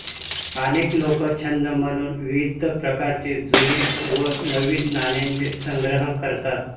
अनेक लोक छंद म्हणून विविध प्रकारच्या जुन्या व नवीन नाण्यांचा संग्रह करतात